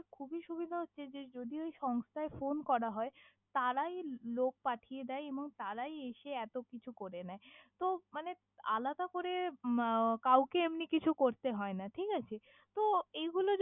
খুবি সুবিধা হছে যে যদি ওই সংস্থায় ফোন করা হয় তারাই লোক পাঠিয়ে দেয় এবং তারাই এসে এতো কিছু করে নেয়, তহ মানে আলাদা করে মাও কাউকে এমনি কিছু করতে হয়না ঠিকাছে তহ এগুলো যদি।